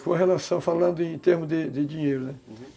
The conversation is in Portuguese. Sua relação falando em termos de dinheiro, né? Uhum.